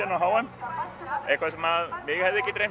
á h m eitthva sem mig hefði ekki dreymt